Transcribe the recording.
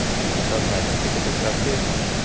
и подсознание это как-то сообщающийся